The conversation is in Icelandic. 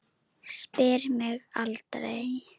Spyr mig aldrei.